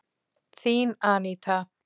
Þín Aníta.